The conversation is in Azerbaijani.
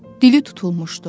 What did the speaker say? Dili tutulmuşdu.